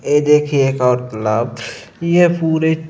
ए देखिए एक और तलाब। ये पूरे--